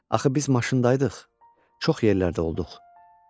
Axı biz maşındayıdıq, çox yerlərdə olduq.